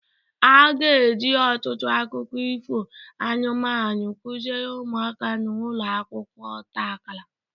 A ga-eji ọtụtụ akụkọ ifo anụmanụ kụziere ụmụaka na ụlọ akwụkwọ ọta akara